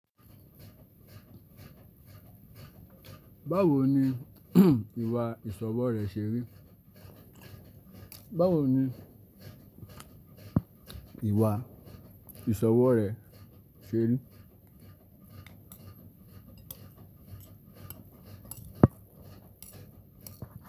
Báwo ni ìwà ìsọwọ́ rè ṣe ri? Báwo ni ìwà ìsọwọ́ rè ṣeré?